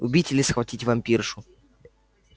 убить или схватить вампиршу